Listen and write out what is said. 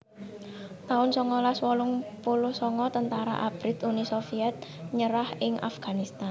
taun songolas wolung puluh sanga Tentara Abrit Uni Sovyet nyerah ing Afghanistan